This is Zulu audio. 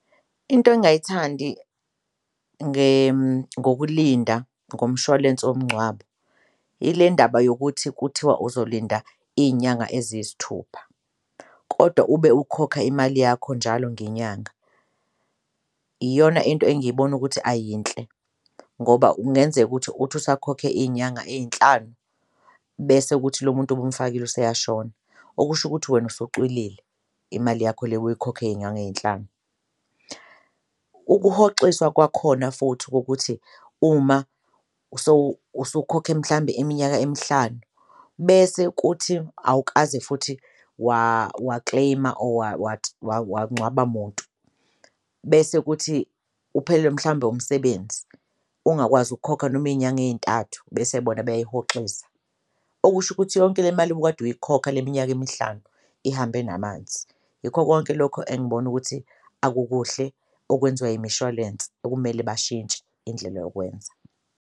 Into engayithandi ngokulinda ngomshwalense womngcwabo ile ndaba yokuthi kuthiwa uzolinda iy'nyanga eziyisithupha kodwa ube ukhokha imali yakho njalo ngenyanga iyona into engiyibona ukuthi ayiyinhle. Ngoba kungenzeka ukuthi uthi usakhokhe iy'nyanga ey'nhlanu bese kuthi lo muntu obumfakile useyashona, okusho ukuthi wena usucwilile imali yakho le obuyikhokha eyey'nyanga ey'nhlanu. Ukuhoxiswa kwakhona futhi kokuthi uma usukhokhe mhlambe iminyaka emihlanu bese kuthi awukaze futhi wa-claim-a or wangcwaba muntu bese kuthi uphelelwe mhlawumbe umsebenzi ungakwazi ukukhokha noma iy'nyanga ey'ntathu bese bona beyayihoxisa, okusho ukuthi yonke le mali obukade uyikhokha le minyaka emihlanu ihambe namanzi. Yikho konke lokho engibona ukuthi akukuhle okwenziwa imishwalense okumele bashintshe indlela yokwenza.